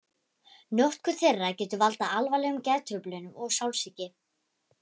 Notkun þeirra getur valdið alvarlegum geðtruflunum og sálsýki.